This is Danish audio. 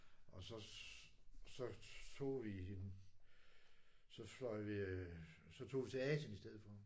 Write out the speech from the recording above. Og så så tog vi en så fløj vi så tog vi Asien i stedet for